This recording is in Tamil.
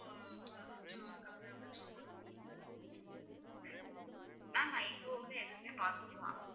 ma'am எங்க ஊர்ல எதுவுமே positive